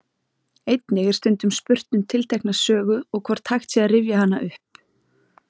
Einnig er stundum spurt um tiltekna sögu og hvort hægt sé að rifja hana upp.